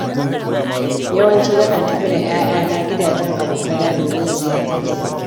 Yawanci nakan tafi da 'ya'yana gidajen abokaina domin ziyartar su.